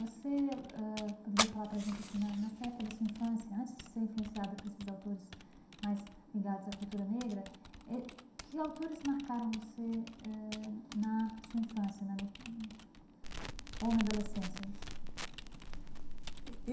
Você ãh poderia falar para a gente assim né, nessa época da sua infância, antes de ser influenciada por esses autores mais ligados à cultura negra eh, que autores marcaram você eh na sua infância na li ou na adolescência?